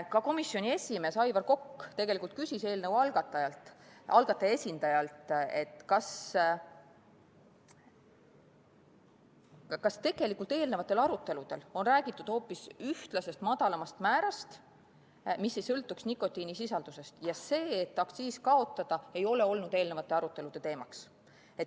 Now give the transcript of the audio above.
Ka komisjoni esimees Aivar Kokk küsis eelnõu algataja esindajalt, kas eelnenud aruteludel on räägitud hoopis ühtlasest madalamast määrast, mis ei sõltuks nikotiinisisaldusest, ja kas aktsiisi kaotamine on olnud eelnenud arutelude teemaks.